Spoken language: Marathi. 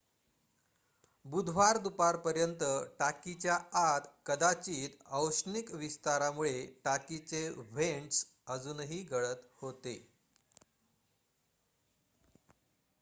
बुधवार दुपारपर्यंत टाकीच्या आत कदाचित औष्णिक विस्तारामुळे टाकीचे व्हेंट्स अजूनही गळत होते